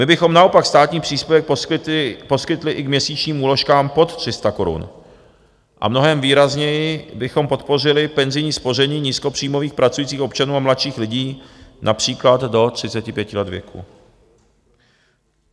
My bychom naopak státní příspěvek poskytli i k měsíčním úložkám pod 300 korun a mnohem výrazněji bychom podpořili penzijní spoření nízkopříjmových pracujících občanů a mladších lidí, například do 35 let věku.